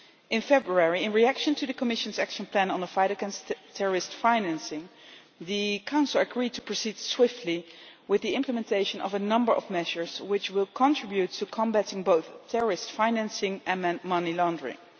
In February, in reaction to the Commission's action plan on the fight against terrorist financing, the Council agreed to proceed swiftly with the implementation of a number of measures which will contribute to combating both terrorist financing and money laundering.